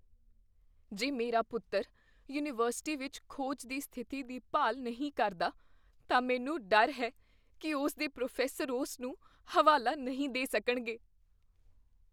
ਜੇ ਮੇਰਾ ਪੁੱਤਰ ਯੂਨੀਵਰਸਿਟੀ ਵਿੱਚ ਖੋਜ ਦੀ ਸਥਿਤੀ ਦੀ ਭਾਲ ਨਹੀਂ ਕਰਦਾ, ਤਾਂ ਮੈਨੂੰ ਡਰ ਹੈ ਕੀ ਉਸ ਦੇ ਪ੍ਰੋਫੈਸਰ ਉਸ ਨੂੰ ਹਵਾਲਾ ਨਹੀਂ ਦੇ ਸਕਣਗੇ।